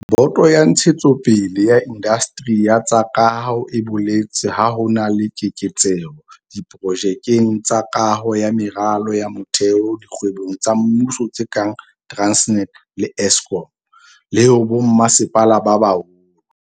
Boto ya Ntshetsopele ya Indasteri ya tsa Kaho e boletse ha ho na le keketseho diprojekeng tsa kaho ya meralo ya motheo dikgwebong tsa mmuso tse kang Transnet le Eskom, le ho bommasepala ba baholo.